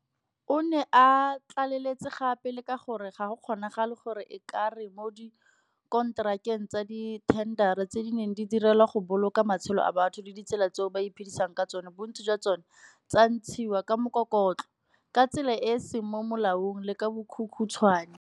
O ne a tlaleletsa gape le ka gore ga go kgonagale gore e ka re mo dikonterakeng tsa dithendara tse di neng di direlwa go boloka matshelo a batho le ditsela tseo ba iphedisang ka tsona bontsi jwa tsona tsa ntshiwa ka mokokotlo, ka tsela e e seng mo molaong le ka bokhukhuntshwane.